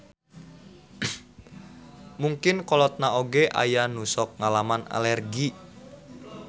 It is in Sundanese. Mungkin kolotna oge aya nu sok ngalaman alergi.